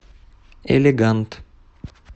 элегант